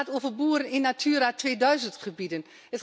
Het gaat over boeren in Natura 2000 gebieden.